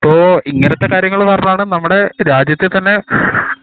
ഇപ്പൊ ഇങ്ങനത്തെ കാര്യങ്ങൾ പറഞ്ഞാണ് നമ്മടെ രാജ്യത്തെ തന്നെ